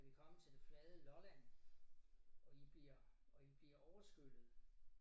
Er vi kommet til det flade Lolland og I bliver og I bliver overskyllet